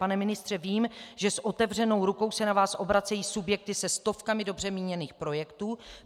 Pane ministře, vím, že s otevřenou rukou se na vás obracejí subjekty se stovkami dobře míněných projektů.